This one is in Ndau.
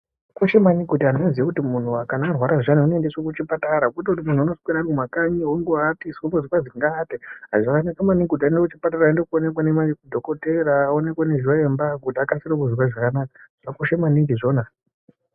Zvakakosha maningi kuti antu anoziva kuti kana muntu arwara anokasira kuendeswa kuchipatara kwete kuti unoswera Ari kumakanyi achiwatiswa ozongonzi aate zvakanaka maningi aende kuchipatara aende kundoonekwa nemadhokoteya aonekwe nezviimba kuti akwanise kunzwa zvakanaka zvakakosha maningi izvona.